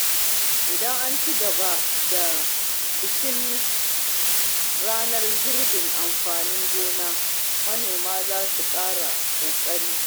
Idan an ci gaba da bikin ranar girbin amfanin gona, manoma za su ƙara ƙoƙari.